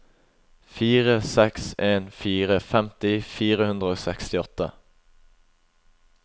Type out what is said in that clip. fire seks en fire femti fire hundre og sekstiåtte